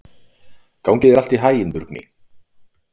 Gangi þér allt í haginn, Burkni.